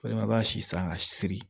Walima i b'a si san ka si siri